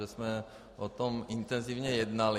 Že jsme o tom intenzivně jednali.